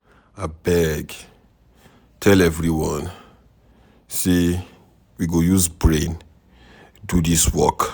Abeg, tell everyone say we go use brain do dis work.